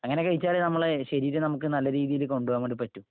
അങ്ങനെ കഴിച്ചാലേ നമ്മുക്ക് നമ്മുടെ ശരീരം നല്ല രീതിയില് കൊണ്ടുപോകാൻ പറ്റൂ.